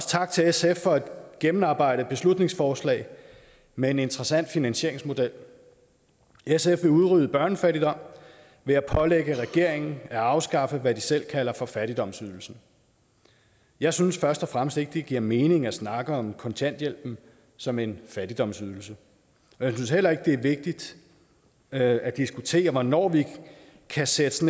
tak til sf for et gennemarbejdet beslutningsforslag med en interessant finansieringsmodel sf vil udrydde børnefattigdom ved at pålægge regeringen at afskaffe hvad de selv kalder for fattigdomsydelsen jeg synes først og fremmest ikke det giver mening at snakke om kontanthjælpen som en fattigdomsydelse og jeg synes heller ikke det er vigtigt at at diskutere hvornår vi kan sætte